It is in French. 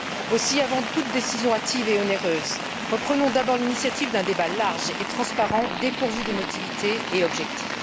Aussi, avant toute décision hâtive et onéreuse, reprenons d'abord l'initiative d'un débat large et transparent dépourvu d'émotivité et objectif.